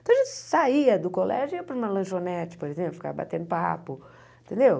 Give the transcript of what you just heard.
Então, a gente saía do colégio e ia para uma lanchonete, por exemplo, ficar batendo papo, entendeu?